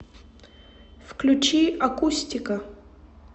включи акустика